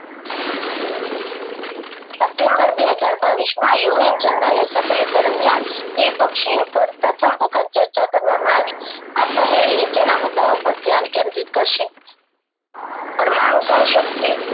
September બે હજાર બાવીસ માં યુ એન જનરલ assembly દરમિયાન દ્વિ પક્ષીયપદ પ્રથમ વખત ચર્ચા કરવામાં આવી આ પહેલ નીચેના મુદ્દાઑ પર ધ્યાન કેન્દ્રિત કરશે પરમાણુ સહ શક્તિ